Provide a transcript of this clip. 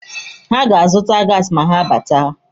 Ha ga-azụta gaasi ma ha batawa.